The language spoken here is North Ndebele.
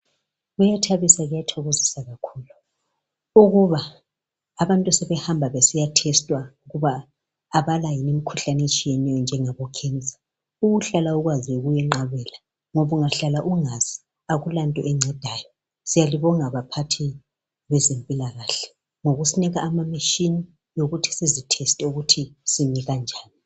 Kuyathabisa kuyathokozisa kakhulu ukuba abantu sebehamba besiya thestwa ukuba abala yini imikhuhlane ehlukeneyo enjengabo khensa ukuhlala ukwazi kuyenqabela ngoba ungahlala ungazi akula nto encedayo siyalibonga baphathi bezempilakahle ngokusinika ama machine okuthi sizi theste ukuthi simi kanjani.